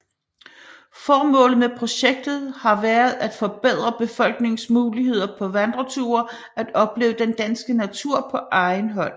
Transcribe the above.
Formålet med projektet har været at forbedre befolkningens muligheder for på vandreture at opleve den danske natur på egen hånd